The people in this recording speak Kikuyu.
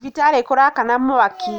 Thibitarĩkũrakana mwaki.